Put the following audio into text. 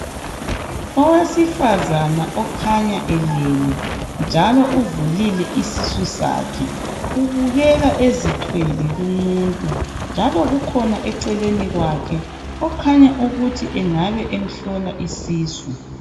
Owesifazana okhanya elele njalo uvulile isisu sakhe. Ubukeka ezithwele lumuntu njalo kukhona eceleni kwakhe okhanya ukuthi engabe emhlola isisu.